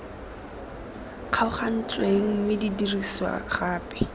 kgaogantsweng mme di dirisiwa gape